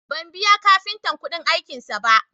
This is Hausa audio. Ban biya kafintan kuɗin aikinsa ba